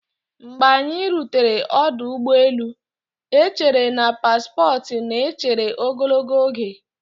Mgbe anyị rutere ọdụ ụgbọ elu, echere na paspọtụ na-echere ogologo oge.